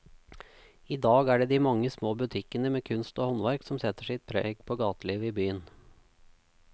I dag er det de mange små butikkene med kunst og håndverk som setter sitt preg på gatelivet i byen.